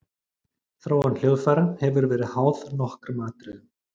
Þróun hljóðfæra hefur verið háð nokkrum atriðum.